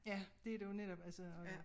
Ja det der jo netop altså